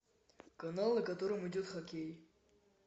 канал на котором идет хоккей